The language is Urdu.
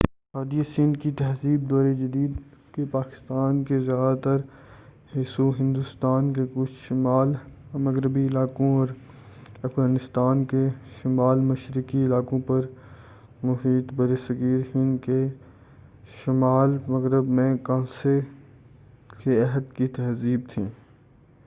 وادی سندھ کی تہذیب دور جدید کے پاکستان کے زیادہ تر حصوں ہندوستان کے کچھ شمال مغربی علاقوں اور افغانستان کے شمال مشرقی علاقوں پر محیط بر صغیر ہند کے شمال مغرب میں کانسے کے عہد کی تہذیب تھی